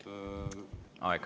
Aeg!